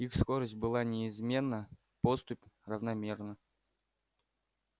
их скорость была неизменна поступь равномерна